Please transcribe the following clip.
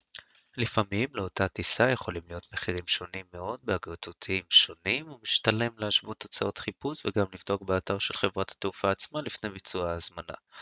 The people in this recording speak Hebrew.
לפעמים לאותה טיסה יכולים להיות מחירים שונים מאוד באגרגטורים שונים ומשתלם להשוות תוצאות חיפוש וגם לבדוק באתר של חברת התעופה עצמה לפני ביצוע ההזמנה